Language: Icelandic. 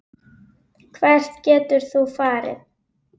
Hvert getur þú farið?